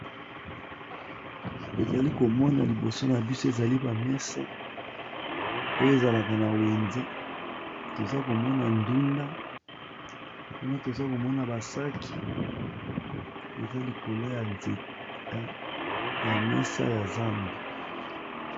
Tozalikomona liboso na biso eza ba mesa oyo ezalaka na weze tozalikomona ndunda kuna tozokomona ba sac eza likolo ya mesa ya zandu.